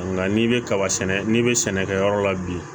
Nka n'i bɛ kaba sɛnɛ n'i bɛ sɛnɛkɛyɔrɔ la bi